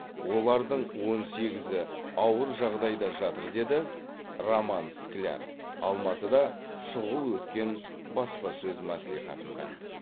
олардың он сегізі ауыр жағдайда жатыр деді роман скляр алматыда шұғыл өткен баспасөз мәслихатында